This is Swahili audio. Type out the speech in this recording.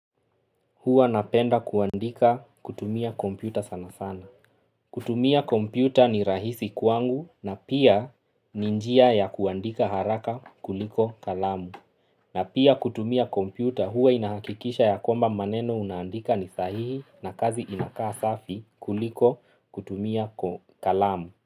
Huwa napenda kuandika kutumia kompyuta sana sana. Kutumia kompyuta ni rahisi kwangu na pia ni njia ya kuandika haraka kuliko kalamu. Na pia kutumia kompyuta huwa inahakikisha ya kwamba maneno unaandika ni sahihi na kazi inakaa safi kuliko kutumia kalamu.